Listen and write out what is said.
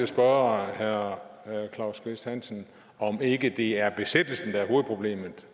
spørge herre claus kvist hansen om ikke det er besættelsen der er hovedproblemet